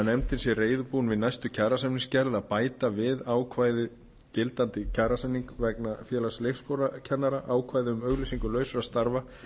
nefndin sé reiðubúin við kjarasamningsgerð að bæta við ákvæði gildandi kjarasamninga vegna félags leikskólakennara ákvæði um auglýsingu lausra starfa